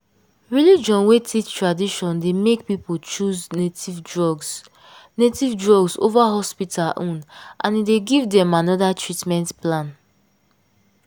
religion wey teach tradition dey make people choose native drugs native drugs over hospital own and e dey give them another treatment plan.